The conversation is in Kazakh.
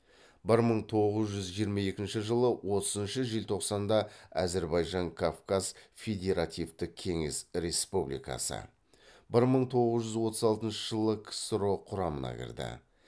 бір мың тоғыз жүз жиырма екінші жылы отызыншы желтоқсанда әзірбайжан кавказ федеративтік кеңес республикасы бір мың тоғыз жүз отыз алтыншы жылы ксро құрамына кірді